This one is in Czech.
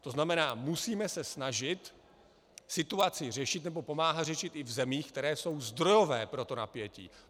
To znamená, musíme se snažit situaci řešit, nebo pomáhat řešit i v zemích, které jsou zdrojové pro to napětí.